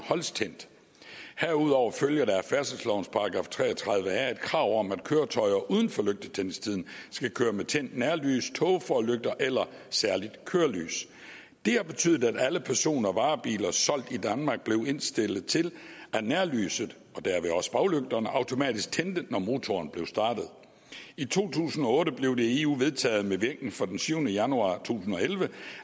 holdes tændt herudover følger der af færdselslovens § 33a et krav om at køretøjer uden for lygtetændingstiden skal køre med tændt nærlys tågeforlygter eller særligt kørelys det har betydet at alle person og varebiler solgt i danmark blev indstillet til at nærlyset og derved også baglygterne automatisk tændte når motoren blev startet i to tusind og otte blev det i eu vedtaget med virkning fra den syvende januar to tusind og elleve